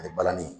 Ani balani